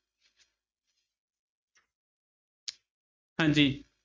ਹਾਂਜੀ